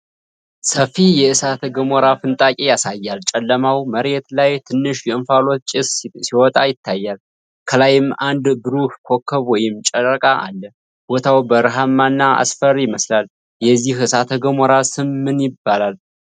ሰፊ የእሳተ ገሞራ ፍንጣቂ ያሳያል። ጨለማው መሬት ላይ ትንሽ የእንፋሎት ጭስ ሲወጣ ይታያል፣ ከላይም አንድ ብሩህ ኮከብ ወይም ጨረቃ አለ። ቦታው በረሃማና አስፈሪ ይመስላል። የዚህ እሳተ ገሞራ ስም ማን ነው?